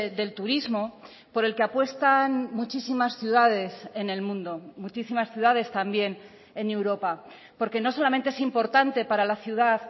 del turismo por el que apuestan muchísimas ciudades en el mundo muchísimas ciudades también en europa porque no solamente es importante para la ciudad